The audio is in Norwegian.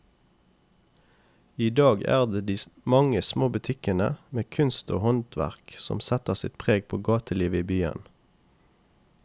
I dag er det de mange små butikkene med kunst og håndverk som setter sitt preg på gatelivet i byen.